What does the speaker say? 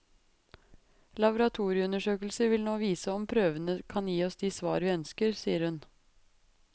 Laboratorieundersøkelser vil nå vise om prøvene kan gi oss de svar vi ønsker, sier hun.